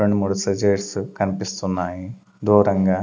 రెండు మూడు సీజర్స్ కనిపిస్తున్నాయి దూరంగా.